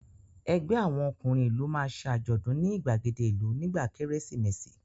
Ẹgbẹ́ àwọn ọkùnrin ìlú máa ṣe àjọ̀dún ní ìgbàgede ìlú nígbà Kérésìmesì